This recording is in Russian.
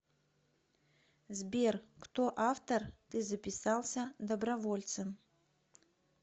сбер кто автор ты записался добровольцем